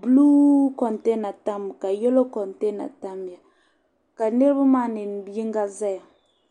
buluui kontena Tammi ka yelo kontena ka niriba yinga zaya